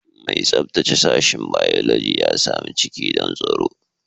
Mai tsabtace sashen Biology ya sami ciki don tsaro